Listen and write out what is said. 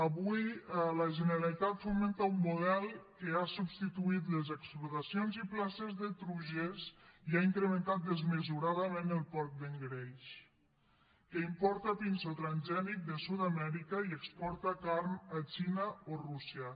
avui la generalitat fomenta un model que ha substituït les explotacions i places de truges i ha incrementat desmesuradament el porc d’engreix que importa pinso transgènic de sud amèrica i exporta carn a la xina o a rússia